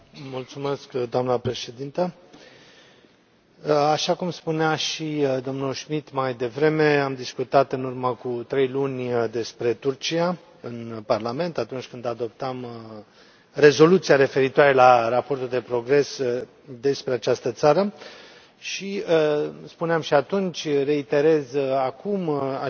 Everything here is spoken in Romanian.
Doamnă președintă, așa cum spunea și domnul Schmit mai devreme, am discutat în urmă cu trei luni despre Turcia în Parlament, atunci când adoptam rezoluția referitoare la raportul de progres despre această țară și spuneam și atunci reiterez acum acest lucru